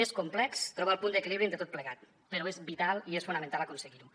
és complex trobar el punt d’equilibri entre tot plegat però és vital i és fonamental aconseguir ho